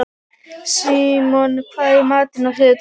Símon, hvað er í matinn á þriðjudaginn?